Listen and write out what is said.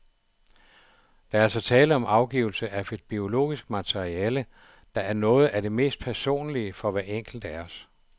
Der er altså tale om afgivelse af et biologisk materiale, der er noget af det mest personlige for hver enkelt af os.